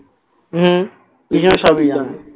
হম কৃষ্ণ সবই জানে